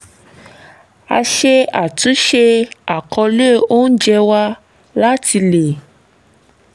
a ṣe àtúnṣe àkọ̀ọ́lẹ̀ oúnjẹ wa láti lè